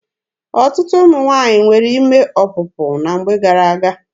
Ọtụtụ ụmụ nwaanyị nwere ime ọpụpụ na mgbe gara-aga.